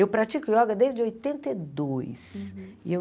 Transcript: Eu pratico yoga desde oitenta e dois e eu